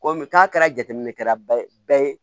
Komi n'a kɛra jateminɛ kɛra bɛɛ ye